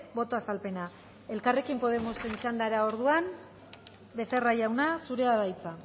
boto azalpena elkarrekin podemosen txandara orduan becerra jauna zurea da hitza